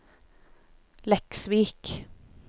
Leksvik